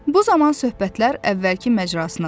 Bu zaman söhbətlər əvvəlki məcrasına düşdü.